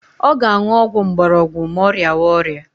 Ọ ga-aṅụ ọgwụ mgborogwu ma ọ rịawa ọrịa